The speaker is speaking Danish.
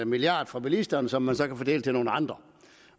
milliard fra bilisterne som man så kan fordele til nogle andre